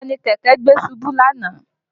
Taa ni kẹ̀kẹ́ gbé ṣubú lánàá?